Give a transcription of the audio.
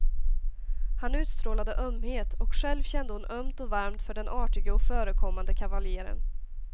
Han utstrålade ömhet, och själv kände hon ömt och varmt för den artige och förekommande kavaljeren.